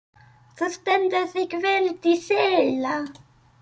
Þú stendur þig vel, Dísella!